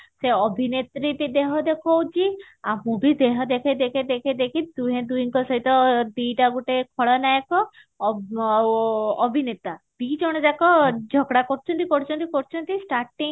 ସେ ଅଭିନେତ୍ରୀ ବି ଦେହେ ଦେଖଉଛି ଆହୁରି ଦେହ ଦେଖେଇ ଦେଖେଇ ଦେଖେଇ ଦୁହେଁ ଦୁହିଙ୍କ ସହିତ ଦିଟା ଗୋଟିଏ ଖଳ ନାୟକ ଆଉ ଅଭିନେତା ଦି ଜଣ ଜାକ ଝପଡା କରୁଛନ୍ତି କରୁଛନ୍ତି